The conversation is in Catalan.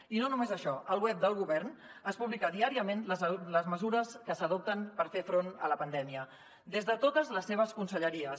i no només això al web del govern es publiquen diàriament les mesures que s’adopten per fer front a la pandèmia des de totes les seves conselleries